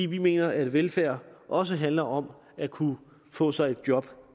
vi mener at velfærd også handler om at kunne få sig et job